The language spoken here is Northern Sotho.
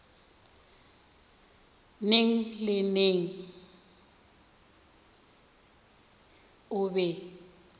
neng le neng o be